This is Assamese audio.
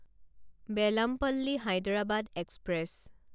বেলামপল্লী হায়দৰাবাদ এক্সপ্ৰেছ